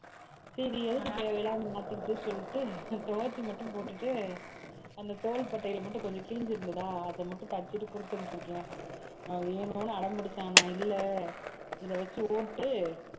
சரி எதுக்கு தேவையில்லாம மாத்திப்புட்டு சொல்லிட்டு துவைச்சு மட்டும் போட்டுட்டு அந்த தோள்பட்டையில மட்டும் கொஞ்சம் கிழிஞ்சு இருந்ததா அதை மட்டும் தைச்சுட்டு கொடுத்து அனுப்பிச்சிருக்கேன் அஹ் வேணும்ன்னு அடம்பிடிச்சான் நான் இல்லை இதை வச்சு ஓட்டு